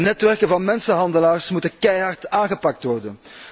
De netwerken van mensenhandelaars moeten keihard aangepakt worden.